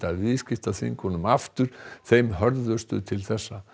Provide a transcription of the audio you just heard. viðskiptaþvingunum aftur þeim hörðustu til þessa